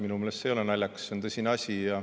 Minu meelest see ei ole naljakas, see on tõsine asi.